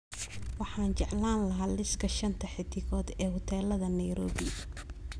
Waxaan jeclaan lahaa liiska shanta xiddigood ee huteelada Nairobi